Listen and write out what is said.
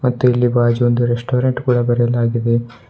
ಮತ್ತು ಇಲ್ಲಿ ಬಾಜು ಒಂದು ರೆಸ್ಟೋರೆಂಟ್ ಕೂಡ ಬರಲಾಗಿದೆ.